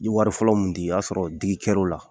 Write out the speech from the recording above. N ye wari fɔlɔ mun di o y'a sɔrɔ digi kɛr'o la